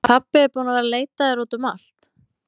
Pabbi er búinn að vera að leita að þér út um allt!